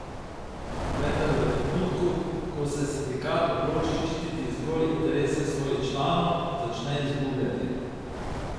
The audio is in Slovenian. Vendar v trenutku, ko se sindikat odloči ščititi zgolj interese svojih članov, začne izgubljati.